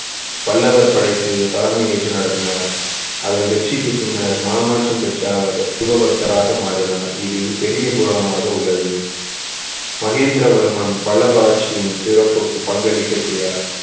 பல்லவர் படைக்கு தலைமை ஏற்று நடத்தினார் அதன் வெற்றிக்கு பின்னர் மனமாற்றம் பெற்ற அவர் சிவ பக்தராக மாறினார் இது பெரிய புராணமாக உள்ளது மகேந்திரவர்மன் பல்லவ ஆட்சியின் சிறப்புக்கு பங்களிக்க செய்தார்